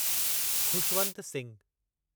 Khushwant Singh